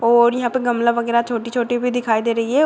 और यहाँ पे गमला वगैरह छोटी-छोटी भी दिखाई दे रही है।